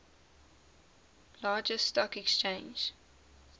largest stock exchange